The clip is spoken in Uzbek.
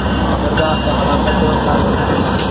Hozirda avtohalokat sabablari o‘rganilmoqda.